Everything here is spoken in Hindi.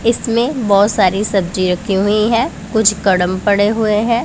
इसमे बहोत सारी सब्जी राखी हुई हैं कुछ कडम पड़े हुई हैं।